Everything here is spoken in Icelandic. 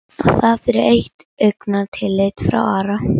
Og það fyrir eitt augnatillit frá Ara?